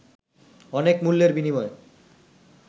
অনেক মূল্যের বিনিময়ে